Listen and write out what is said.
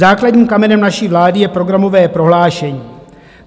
Základním kamenem naší vlády je programové prohlášení.